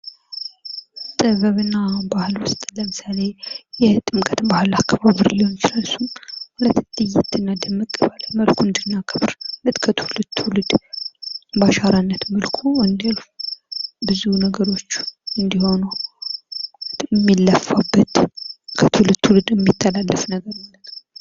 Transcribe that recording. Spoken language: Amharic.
ጥበብ እና ባሕል ውስጥ ለምሳሌ የጥምቀት በዓል አከባበር ሊሆን ይችላል ለየት እና ድምቅ ባለ መልኩ እንድናከብር ማለት ከትውልድ ትውልድ ባሻራነት መልኩ እንዲያልፍ ብዙ ነገሮች እንዲሆኑ ሚለፋበት ከትውልድ ትውልድ ሚተላለፍ ነገር ።